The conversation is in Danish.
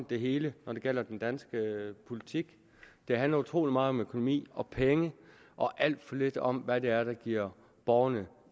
det hele når det gælder den danske politik det handler utrolig meget om økonomi og penge og alt for lidt om hvad det er der giver borgerne